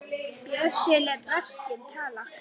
Bjössi lét verkin tala.